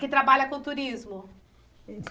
Que trabalha com turismo.